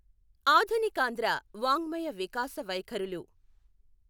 ఆధునికాంధ్ర వాౙ్మయ వికాస వైఖరులు